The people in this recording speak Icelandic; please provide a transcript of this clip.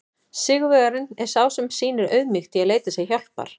Sigurvegarinn er sá sem sýnir auðmýkt í að leita sér hjálpar!